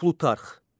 Plutarx.